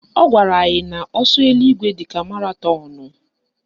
Ọ gwara anyị na ọsọ eluigwe dịka maratọnụ